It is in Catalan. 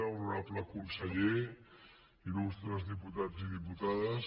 honorable conseller il·lustres diputats i diputades